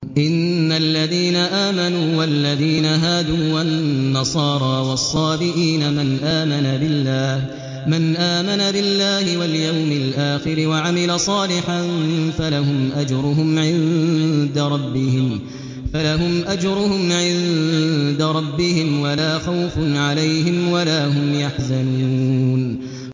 إِنَّ الَّذِينَ آمَنُوا وَالَّذِينَ هَادُوا وَالنَّصَارَىٰ وَالصَّابِئِينَ مَنْ آمَنَ بِاللَّهِ وَالْيَوْمِ الْآخِرِ وَعَمِلَ صَالِحًا فَلَهُمْ أَجْرُهُمْ عِندَ رَبِّهِمْ وَلَا خَوْفٌ عَلَيْهِمْ وَلَا هُمْ يَحْزَنُونَ